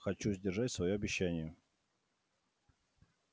хочу сдержать своё обещание